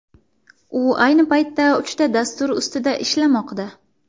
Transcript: U ayni paytda uchta dastur ustida ishlamoqda.